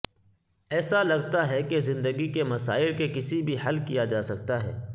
ایسا لگتا ہے کہ زندگی کے مسائل کے کسی بھی حل کیا جا سکتا ہے